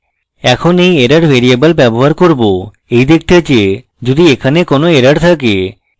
এখন এই error variable ব্যবহার করব এই দেখতে যে যদি এখানে কোনো error থাকে